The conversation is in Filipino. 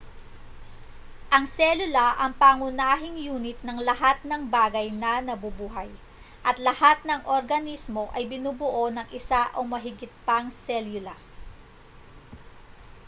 ang selula ang pangunahing yunit ng lahat ng bagay na nabubuhay at lahat ng organismo ay binubuo ng isa o mahigit pang selula